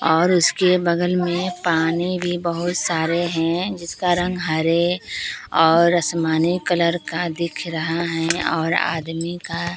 और उसके बगल में पानी भी बहुत सारे हैं जिसका रंग हरे और असमानी कलर का दिख रहा हैं और आदमी का --